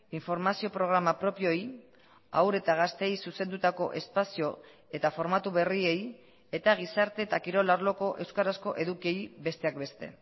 informazio programa propioei haur eta gazteei zuzendutako espazio eta formatu berriei eta gizarte eta kirol arloko euskarazko edukiei besteak beste